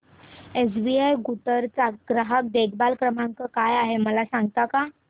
SBI Guntur चा ग्राहक देखभाल नंबर काय आहे मला सांगता का